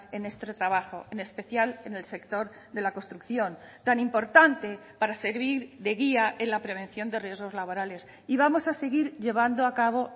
en este trabajo en especial en el sector de la construcción tan importante para servir de guía en la prevención de riesgos laborales y vamos a seguir llevando a cabo